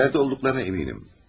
İçəridə olduqlarına əminəm.